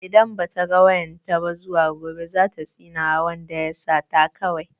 Idan ba ta ga wayan ta ba zuwa gobe za ta tsinewa wanda ya sata kawai.